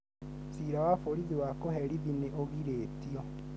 Ciira wa borithi wa kũherithi ni ũgiritio